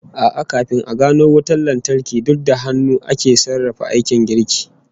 A'a, kafin a gano wutan lantarki, duk da hannu ake sarrafa aikin girki